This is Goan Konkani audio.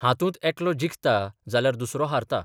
हातूंत एकलो जिखता जाल्यार दुसरो हारता.